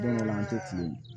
Don dɔ la an tɛ fili